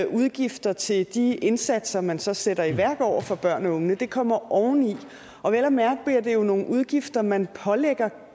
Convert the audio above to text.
udgifter til de indsatser man så sætter i værk over for børnene og de unge de kommer oveni og vel at mærke bliver det jo nogle udgifter man pålægger